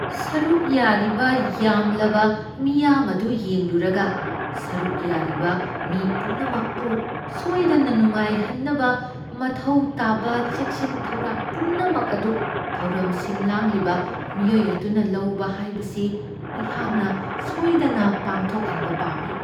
ꯁꯔꯨꯛ ꯌꯥꯔꯤꯕ ꯌꯥꯝꯂꯕ ꯃꯤꯌꯥꯝ ꯑꯗꯨ ꯌꯦꯡꯂꯨꯔꯒ, ꯁꯔꯨꯛ ꯌꯥꯔꯤꯕ ꯃꯤ ꯄꯨꯝꯅꯃꯛꯄꯨ ꯁꯣꯏꯗꯅ ꯅꯨꯡꯉꯥꯏꯍꯟꯅꯕ ꯃꯊꯧ ꯇꯥꯕ ꯆꯦꯛꯁꯤꯟ ꯊꯧꯔꯥꯡ ꯄꯨꯝꯅꯃꯛ ꯑꯗꯨ ꯊꯧꯔꯝ ꯁꯤꯟ ꯂꯥꯡꯂꯤꯕ ꯃꯤꯑꯣꯏ ꯑꯗꯨꯅ ꯂꯧꯕ ꯍꯥꯏꯕꯁꯤ ꯑꯩꯍꯥꯛꯅ ꯁꯣꯏꯗꯅ ꯄꯥꯡꯊꯣꯛꯍꯟꯕ ꯄꯥꯝꯃꯤ ꯫